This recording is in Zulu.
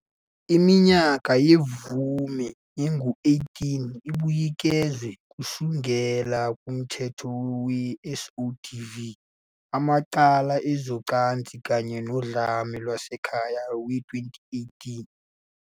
Iminyaka yemvume ingu- 18, ibuyekezwe kusukela kuMthetho we-SODV, amacala ezocansi kanye nodlame lwasekhaya, we-2018.